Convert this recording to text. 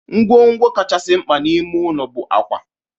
Ngwongwo kachasị mkpa n'ime ime ụlọ bụ akwa.